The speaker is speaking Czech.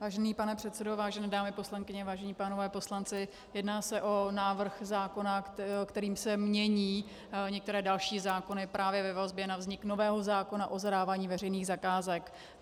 Vážený pane předsedo, vážené dámy poslankyně, vážení pánové poslanci, jedná se o návrh zákona, kterým se mění některé další zákony právě ve vazbě na vznik nového zákona o zadávání veřejných zakázek.